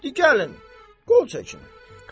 Di gəlin, qol çəkin.